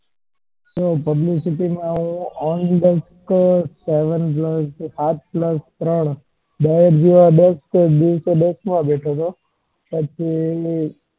જો publicity માં હું દસ દિવસ બેઠો હતો.